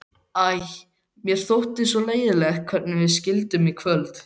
Æ, mér þótti svo leiðinlegt hvernig við skildum í kvöld.